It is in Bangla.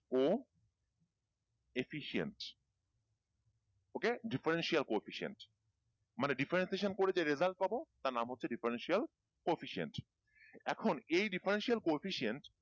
co-efficient okay differential co-efficient মানে differential করে যে result পাবো তার নাম হচ্ছে differential co-efficient এখন এই differential co-efficient